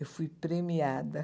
Eu fui premiada.